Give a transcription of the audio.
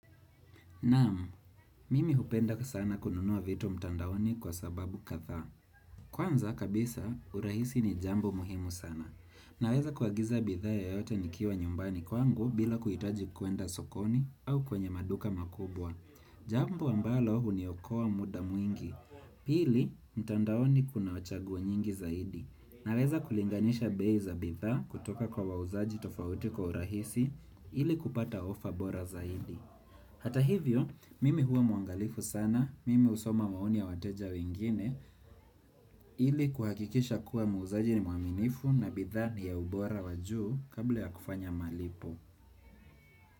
Naamu, mimi hupenda sana kununua vitu mtandaoni kwa sababu kadhaa. Kwanza kabisa, urahisi ni jambo muhimu sana. Naweza kuagiza bidhaa yoyote nikiwa nyumbani kwangu bila kuitaji kuenda sokoni au kwenye maduka makubwa. Jambo ambalo huniokoa muda mwingi. Pili, mtandaoni kuna wa chagua nyingi zaidi. Naweza kulinganisha bei za bidhaa kutoka kwa wauzaji tofauti kwa urahisi ili kupata ofa bora zaidi. Hata hivyo, mimi huwa mwangalifu sana, mimi husoma maoni ya wateja wengine, ili kuhakikisha kuwa muuzaji ni mwaminifu na bidhaa ni ya ubora wa juu kabla ya kufanya malipo.